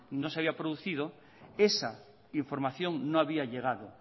no se había producido esa información no había llegado